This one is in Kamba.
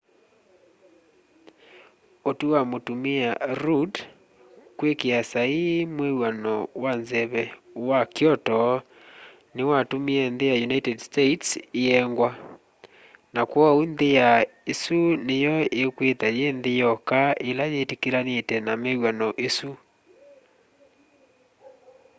ũtwĩ wa mũtũmĩa rũdd kwĩkĩa saĩĩ mwĩw'ano wa nzeve wa kyoto nĩwatũmĩe nthĩ ya ũnĩted states ĩengwa na kwooũ nthĩ ya ĩsũ nĩyo ĩkwĩtha yĩ nthĩ yoka ĩla yĩtĩkĩlanĩte na mwĩwano ũsũ